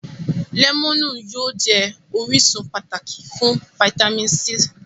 Lẹ́mọ̀nù yóò jẹ́ orísun pàtàkì fún fáítámì C